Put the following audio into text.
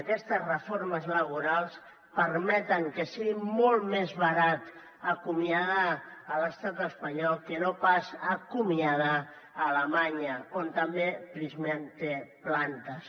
aquestes reformes laborals permeten que sigui molt més barat acomiadar a l’estat espanyol que no pas acomiadar a alemanya on també prysmian té plantes